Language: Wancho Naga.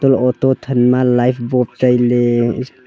toh auto thanma light bob tailey.